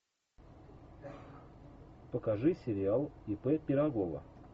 покажи сериал ип пирогова